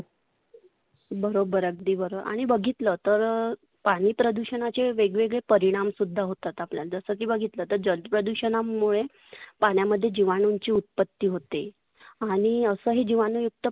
बरोबर अगदी बरोबर. आणि बघितल तर पाणी प्रदुषनाचे वेगवेगळे परिनाम सुद्धा होतात. जस की बघितल जल प्रदुषनामुळे पाण्यामध्ये जिवाणूंची उत्पत्ती होते. आणि असं हे जिवाणूयुक्त